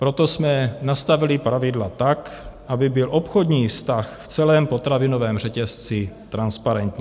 Proto jsme nastavili pravidla tak, aby byl obchodní vztah v celém potravinovém řetězci transparentní.